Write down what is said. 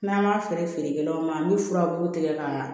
N'an m'a feere kɛlaw ma an bɛ furabulu tigɛ k'a ɲa